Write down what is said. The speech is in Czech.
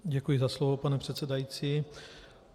Děkuji za slovo, pane předsedající.